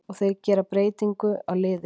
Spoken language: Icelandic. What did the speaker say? Og þeir gera breytingu á liði sínu.